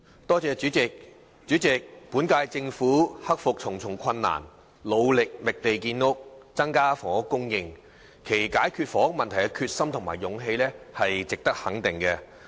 代理主席，本屆政府克服重重困難，努力覓地建屋，增加房屋供應，其解決房屋問題的決心和勇氣值得肯定。